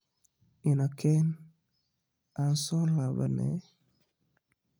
Inaa keen an soo dabalane.